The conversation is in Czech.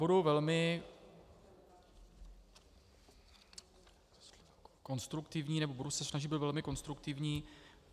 Budu velmi konstruktivní, nebo se budu snažit být velmi konstruktivní.